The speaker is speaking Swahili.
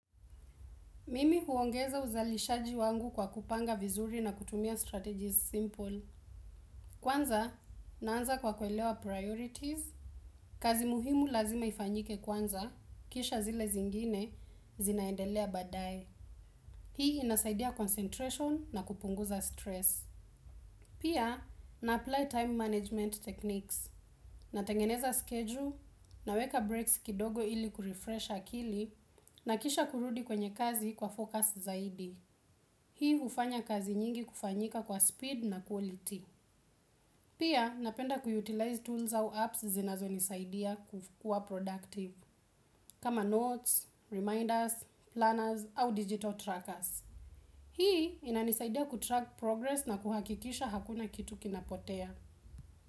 Mimi huongeza uzalishaji wangu kwa kupanga vizuri na kutumia strategies simple. Kwanza, naanza kwa kuelewa priorities. Kazi muhimu lazima ifanyike kwanza, kisha zile zingine zinaendelea baadaye. Hii inasaidia concentration na kupunguza stress. Pia, na-apply time management techniques. Natengeneza schedule naweka breaks kidogo ili kurefresh akili na kisha kurudi kwenye kazi kwa focus zaidi. Hii hufanya kazi nyingi kufanyika kwa speed na quality. Pia napenda kuutilize tools au apps zinazonisaidia kukua productive. Kama notes, reminders, planners au digital trackers. Hii inanisaidia kutrack progress na kuhakikisha hakuna kitu kinapotea.